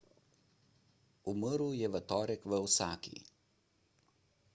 umrl je v torek v osaki